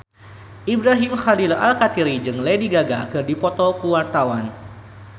Ibrahim Khalil Alkatiri jeung Lady Gaga keur dipoto ku wartawan